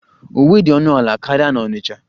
Uwe dị ọnụ ala karịa na Onitcha